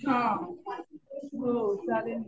हा हो.चा लेल ना.